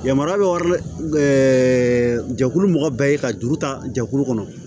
Yamaruya bɛ wari jɛkulu mɔgɔ bɛɛ ye ka juru ta jɛkulu kɔnɔ